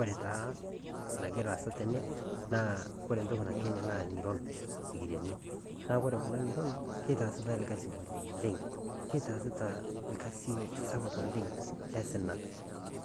Ore taa nagira aasa tene ore entoki natii ene naa ing'iron sikiriani neitaasitai orkasi oleng' keitaasita orkasi sapuk oleng' le osina